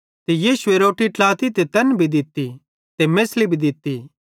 यीशुए रोट्टी ट्लाती ते तैना भी दित्ती ते मेछ़ली भी दित्ती